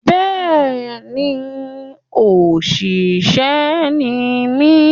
Bẹ́ẹ̀ ní, oníṣẹ̀ṣe ni mí.